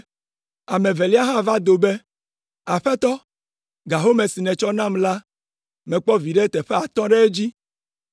“Ame evelia hã va do be, ‘Aƒetɔ, ga home si nètsɔ nam la mekpɔ viɖe teƒe atɔ̃ ɖe edzi.’